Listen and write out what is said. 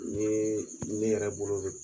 Nn ye ne yɛrɛ bolo don